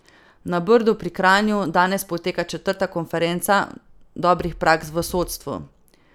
Na Brdu pri Kranju danes poteka četrta konferenca dobrih praks v sodstvu.